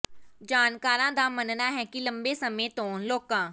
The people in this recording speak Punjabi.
ਜਾਣਕਾਰਾਂ ਦਾ ਮੰਨਣਾ ਹੈ ਕਿ ਲੰਬੇ ਸਮੇਂ ਤੋਂ ਲੋਕਾਂ